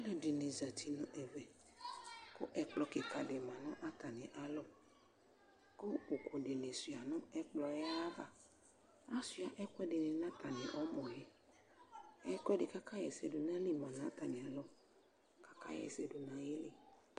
alʊɛdɩnɩ zati nʊ ɛmɛ kʊ ɛkplɔ kika dɩ lɛ nʊ atamialɔ kʊ ʊkʊ dɩnɩ suia nʊ ɛkplɔ yɛ ayava, atanɩ asuia ɛkʊɛdɩnɩ nʊ ɛmɔ, ɛlʊɛdɩ kʊ akaɣa ɛsɛ dʊ nʊ ayili lɛ nʊ atamialɔ kʊ akaɣa ɛsɛ dʊ nʊ ayili